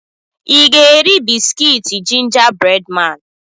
ị ga-eri bisikitii ginger breadman?